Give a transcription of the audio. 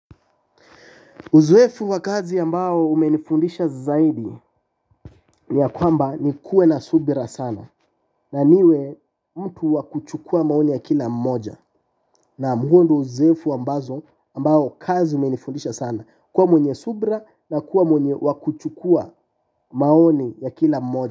Uzuefu wa kazi ambao umenifundisha zaidi ni ya kwamba ni kuwe na subira sana na niwe mtu wakuchukua maoni ya kila moja na muundu uzoefu ambazo ambao kazi umenifundisha sana kuwa mwenye subra na kuwa mwenye wakuchukua maoni ya kila moja.